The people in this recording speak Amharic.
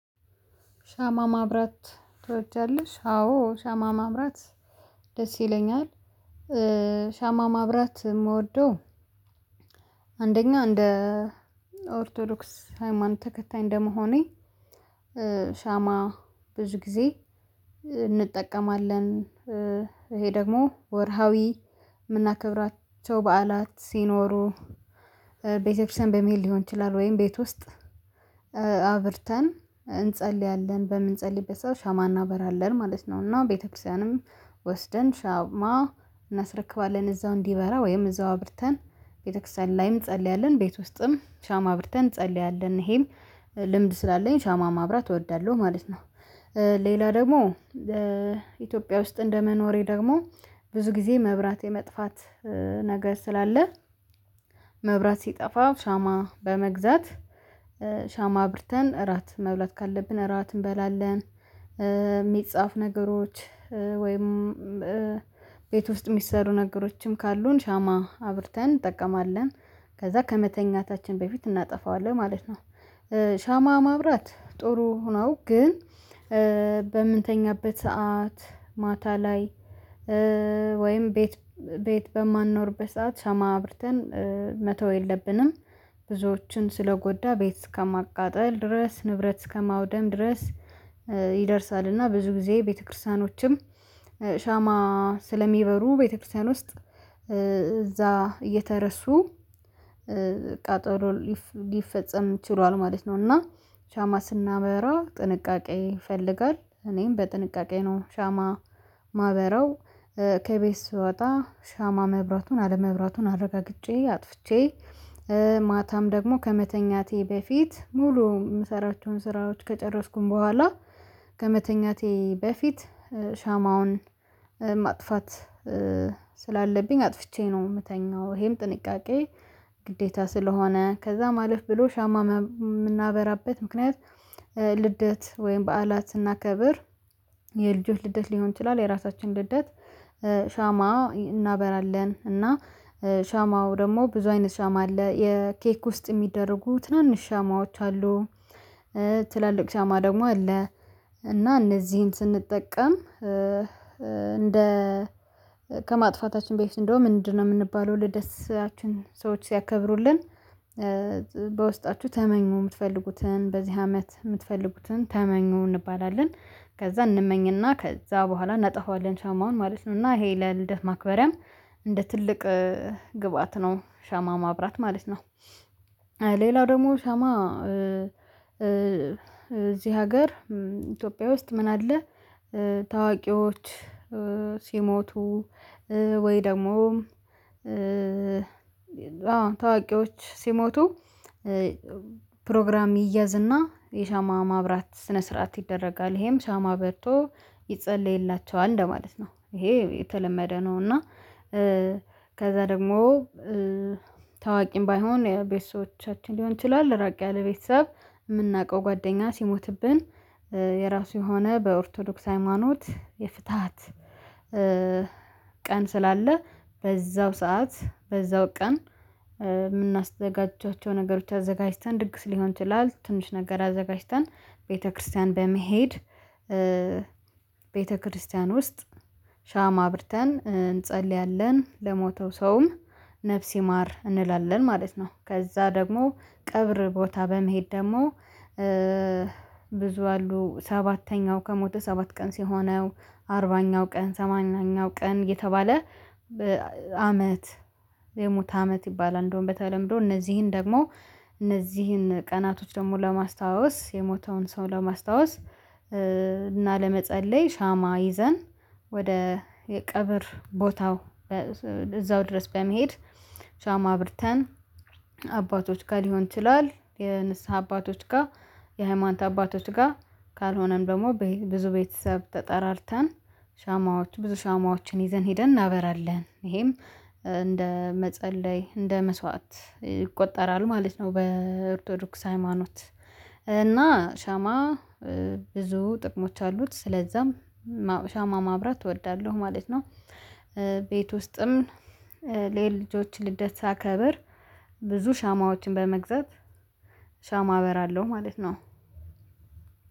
ሻማ ማብራት ትወጃለሽ? አዎ ሻማ ማብራት ደስ ይለኛል ሻማ ማብራት የምወደው አንደኛው እንደ ኦርቶዶክስ ሃይማኖት ተከታይ እንደመሆኔ ሻማ ብዙ ጊዜ እንጠቀማለን፤ ይሄ ደግሞ ወርሃዊ የምናከብራቸው በዓላት ሲኖሩ፤ ቤተክርስቲያን በመሄድ ሊሆን ይችላል ወይም ቤት ውስጥ አብርተን እንጸልያለን፤ በምንጸልይበት ሰው ሻማ እናበራለን ማለት ነው። እና ቤተክርስቲያንም ወስደን ሻማ እናስረክባለን። እዛው እንዲበራ ወይም እዛው አብርተን ቤተክርስቲያን ላይም እንጸልያለ፤ ቤት ውስጥም ሻማ አብርተን እንጸልያለን፤ ይሄም ልምድ ስላለኝ ሻማ ማብራት እወዳለሁ ማለት ነው። ሌላ ደግሞ ኢትዮጵያ ውስጥ እንደመኖሬ ደግሞ ብዙ ጊዜ መብራት የመጥፋት ነገር ስላለ መብራት ሲጠፋ ሻማ በመግዛት ሻማ አብርተን እራት መብራት ካለብን እራት እንበላለን። የሚጻፍ ነገሮች ወይም ቤት ውስጥ የሚሰሩ ነገሮችም ካሉን ሻማ አብርተን እንጠቀማለን። ከዛ ከመተኛታችን በፊት እናጠፋዋለን ማለት ነው። ሻማ ማብራት ጥሩ ነው ግን በምንተኛበት ሰዓት ማታ ላይ ወይም ቤት ቤት በማንኖርበት ሰዓት ሻማ አብርተን መተው የለብንም። ብዙዎችን ስለጎዳ ቤት እስከማቃጠል ድረስ፤ ንብረት እስከማውደም ድረስ፤ ይደርሳል እና ብዙ ጊዜ ቤተክርስቲያኖችም ሻማ ስለሚበሩ ቤተክርስቲያን ውስጥ እዛ እየተረሱ ቃጠሎ ሊፈጸም ችሏል ማለት ነው እና ሻማ ስናበራ ጥንቃቄ ይፈልጋል። እኔም በጥንቃቄ ነው ሻማ ማበራው ከቤት ስወጣ ሻማ መብራቱን፤ አለመብራቱን አረጋግጬ፤ አጥፍቼ ማታም ደግሞ ከመተኛቴ በፊት ሙሉ የምሰራቸውን ስራዎች ከጨረስኩኝ በኋላ ከመተኛቴ በፊት ሻማውን ማጥፋት ስላለብኝ አጥፍቼ ነው የምተኛው ይሄም ጥንቃቄ ግዴታ ስለሆነ። ከዛ አለፍ ብሎ ሻማ የምናበራበት ምክንያት ልደት ወይም በዓላት ስናከብር የልጆች ልደት ሊሆን ይችላል የራሳችን ልደት ሻማ እናበራለን እና ሻማው ደግሞ ብዙ አይነት ሻማ አለ የኬክ ውስጥ የሚደረጉ ትናንሽ ሻማዎች አሉ ትላልቅ ሻማ ደግሞ አለ። እና እነዚህን ስንጠቀም እንደ ከማጥፋታችን በፊት እንደውም ምንድነው የምንባለው ለደስታችን ሰዎች ሲያከብሩልን በውስጣችሁ ተመኙ የምትፈልጉትን በዚህ አመት የምትፈልጉትን ተመኙ እንባላለን። ከዛ እንመኝና ከዛ በኋላ እናጠፋዋለን ሻማውን ማለት ነው። እና ይሄ ለልደት ማክበሪያም እንደ ትልቅ ግብአት ነው ሻማ ማብራት ማለት ነው። ሌላው ደግሞ ሻማ እዚህ ሀገር ኢትዮጵያ ውስጥ ምን አለ ታዋቂዎች ሲሞቱ ወይ ደግሞ አዎ ታዋቂዎች ሲሞቱ፤ ፕሮግራም ይያዝና የሻማ ማብራት ስነ ስርዓት ይደረጋል። ይሄም ሻማ በርቶ ይጸለይላቸዋል እንደማለት ነው። ይሄ የተለመደ ነው እና ከዛ ደግሞ ታዋቂም ባይሆን ቤተሰቦቻችን ሊሆን ይችላል፤ ራቅ ያለ ቤተሰብ የምናውቀው ጓደኛ ሲሞትብን የራሱ የሆነ በኦርቶዶክስ ሃይማኖት የፍታት ቀን ስላለ በዛው ሰዓት በዛው ቀን የምናዘጋጃቸው ነገሮች አዘጋጅተን ድግስ ሊሆን ይችላል ትንሽ ነገር አዘጋጅተን ቤተክርስቲያን በመሄድ ቤተክርስቲያን ውስጥ ሻማ አብርተን እንጸልያለን። ለሞተው ሰውም ነፍስይማር እንላለን ማለት ነው። ከዛ ደግሞ ቅብር ቦታ በመሄድ ደግሞ ብዙ አሉ ሰባተኛው ከሞተ፤ ሰባት ቀን ሲሆነው አርባኛው ቀን፤ ሰማንያኛው ቀን የተባለ አመት የሙት አመት ይባላል እንደውም በተለምዶ እነዚህን ደግሞ እነዚህን ቀናቶች ደግሞ ለማስታወስ የሞተውን ሰው ለማስታወስ እና ለመጸለይ ሻማ ይዘን ወደ የቀብር ቦታው እዛው ድረስ በመሄድ ሻማ አብርተን አባቶች ጋር ሊሆን ይችላል፤ የንስሃ አባቶች ጋር፤ የሃይማኖት አባቶች ጋር ካልሆነም ደግሞ ብዙ ቤተሰብ ተጠራርተን ሻማዎች ብዙ ሻማዎችን ይዘን ሄደን እናበራለን ይሄም እንደ መጸለይ እንደ መስዋዕት ይቆጠራሉ ማለት ነው በኦርቶዶክስ ሃይማኖት እና ሻማ ብዙ ጥቅሞች አሉት ስለዛም ሻማ ማብራት እወዳለሁ ማለት ነው። ቤት ውስጥም የልጆች ልደት ሳከብር ብዙ ሻማዎችን በመግዛት ሻማ አበራለሁ ማለት ነው።